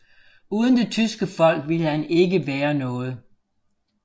Uden det tyske folk ville han ikke være noget